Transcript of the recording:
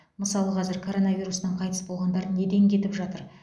мысалы қазір коронавирустан қайтыс болғандар неден кетіп жатыр